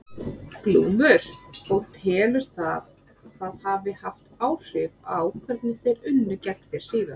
Glúmur: Og telurðu að það hafi haft áhrif á hvernig þeir unnu gegn þér síðar?